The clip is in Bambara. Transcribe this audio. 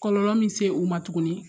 Kɔlɔlɔ min se u ma tuguni